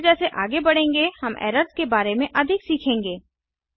जैसे जैसे आगे बढेंगे हम एरर्स के बारे में अधिक सीखेंगें